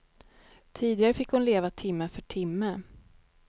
Tidigare fick hon leva timme för timme.